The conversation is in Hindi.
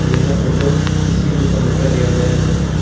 यह फोटो किसी दुकान का लिया गया हुआ है।